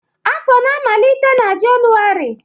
afọ na-amalite na Jenụwarị